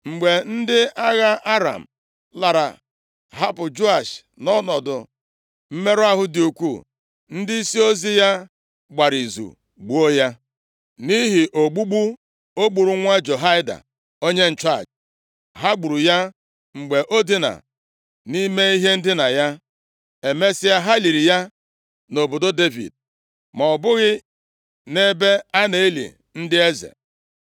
Mgbe ndị agha Aram lara, hapụ Joash nʼọnọdụ mmerụ ahụ dị ukwuu, ndịisi ozi ya gbara izu gbuo ya, nʼihi ogbugbu o gburu nwa Jehoiada, onye nchụaja. Ha gburu ya mgbe o dina nʼihe ndina ya. Emesịa, ha liri ya nʼobodo Devid, ma ọ bụghị nʼebe a na-eli ndị eze.